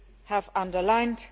you have underlined.